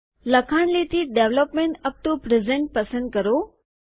લખાણ લીટી development UP to present પસંદ કરો